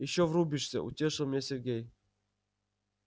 ещё врубишься утешил меня сергей